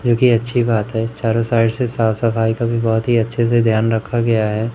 जो कि अच्छी बात है चारों साइड से साफ सफाई का भी बहोत ही अच्छे से ध्यान रखा गया है।